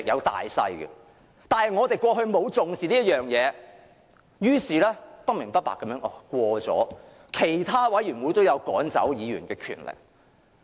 但是，我們過去並無重視這一點，於是不明不白地通過了規則，賦予委員會主席趕走議員的權力。